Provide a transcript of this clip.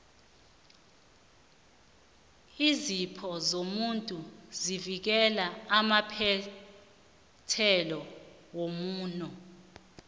iinzipho zomuntu zivikela amaphethelo womuno